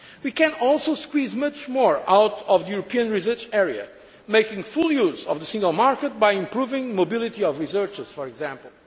We can also squeeze much more out of the European Research Area, making full use of the single market by improving the mobility of researchers, for example.